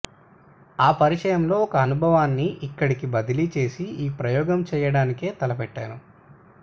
ఆ పరిచయంలో ఒక అనుభవాన్ని ఇక్కడకి బదిలీ చేసి ఈ ప్రయోగం చెయ్యడానికి తలపెట్టేను